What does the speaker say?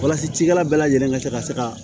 Walasa cikɛla bɛɛ lajɛlen ka se ka se ka